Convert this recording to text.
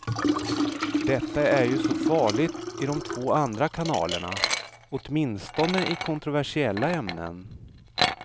Detta är ju så farligt i de två andra kanalerna, åtminstone i kontroversiella ämnen.